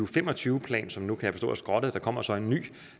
fem og tyve plan som jeg nu kan forstå er skrottet der kommer så en ny